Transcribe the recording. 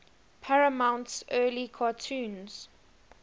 paramount's early cartoons